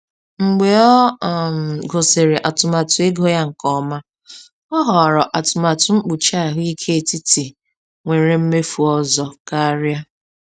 Mgbe ọ um gụsịrị atụmatụ ego ya nke ọma, ọ họrọ atụmatụ mkpuchi ahụike etiti nwere mmefu ọzọ karịa.